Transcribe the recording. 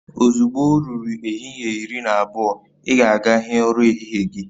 Ozugbo o ruru ehihie iri na abụọ, ị ga aga hịe ura ehihie gị